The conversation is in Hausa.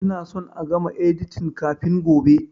Ina son a gama editin kafin gobe!